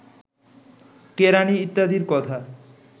কেরাণী ইত্যাদির কথা